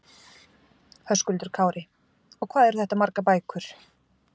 Höskuldur Kári: Og hvað eru þetta margar bækur?